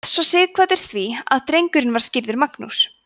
réð svo sighvatur því að drengurinn var skírður magnús